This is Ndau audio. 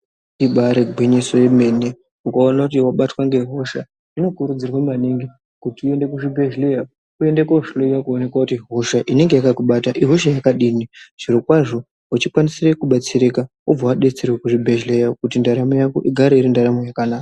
Ibaari gwinyiso yemene, ukaona kuti vabatwa ngehosha zvinokurudzirwa maningi, kuti uende kuzvibhedhlera, uende kohloiwa kuoneka kuti hosha inenge yakakubata ihosha yakadini. Zvirokwazvo uchikwanise kubatsirika wobva wabetserwa kuchibhedhlera kuti ndaramo yako igare iri ndaramo yakanaka.